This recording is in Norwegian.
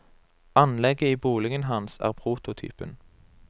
Anlegget i boligen hans er prototypen.